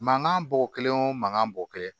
Mankan bɔ kelen o mankan bɔ kelen